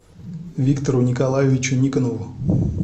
виктору николаевичу никонову